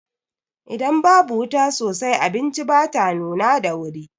Idan babu wuta sosai, abinci bata nuna da wuri.